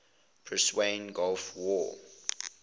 persian gulf war